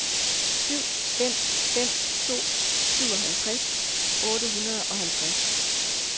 syv fem fem to syvoghalvtreds otte hundrede og halvtreds